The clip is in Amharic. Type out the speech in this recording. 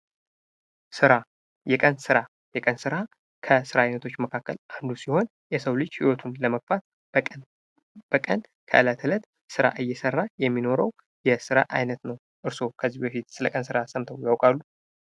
ስራ ። የቀን ስራ ፡ የቀን ስራ ከስራ አይነቶች መካከል አንዱ ሲሆን የሰው ልጅ ህይወቱን ለመግፋት በቀን በቀን ከእለት እለት ስራ እየሰራ የሚኖረው የስራ አይነት ነው ።እርስዎ ከዚህ በፊት ስለ ቀን ስራ ሰምተው ያውቃሉ?